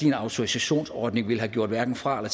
en autorisationsordning ville have gjort hverken fra